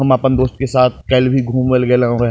हम आपन दोस्त के साथ काल भी घूमेले गेलो या।